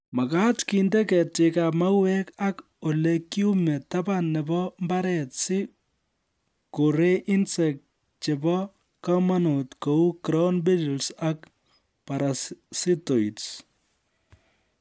Makaat kende ketikab mauek ak olikiume taban nebo mbaret si korei insects chebo komonut kou ground beetles ak parasitoids